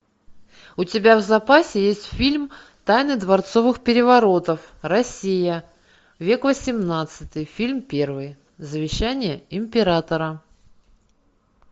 у тебя в запасе есть фильм тайны дворцовых переворотов россия век восемнадцатый фильм первый завещание императора